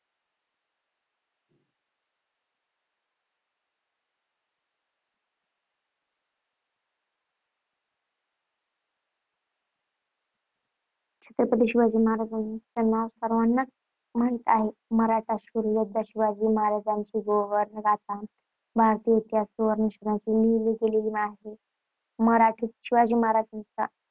छत्रपती शिवाजी महाराजांचे नाव सर्वांनाच माहित आहे. मराठा शूर योद्धा शिवाजी महाराजांची गौरवगाथा भारतीय इतिहासात सुवर्णाक्षरांनी लिहिली गेली आहे. मराठीत शिवाजी महाराजांचा